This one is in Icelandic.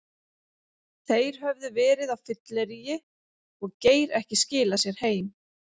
Þeir höfðu verið á fylleríi og Geir ekki skilað sér heim.